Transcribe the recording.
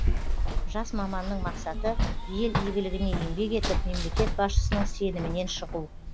жас маманның мақсаты ел игілігіне еңбек етіп мемлекет басшысының сенімінен шығу